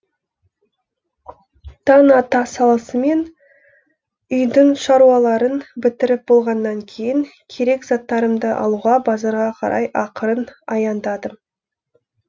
таң ата салысымен үйдің шаруаларын бітіріп болғаннан кейін керек заттарымды алуға базарға қарай ақырын аяңдадым